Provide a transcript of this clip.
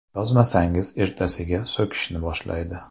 Yozmasangiz, ertasiga so‘kishni boshlaydi.